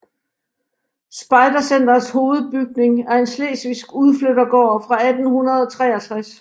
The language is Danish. Spejdercentrets hovedbygning er en slesvigsk udflyttergård fra 1863